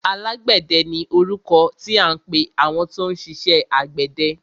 Alágbẹ̀dẹ ni orúkọ tí à ń pẹ àwọn tó ń ṣiṣẹ àgbẹ̀dẹ.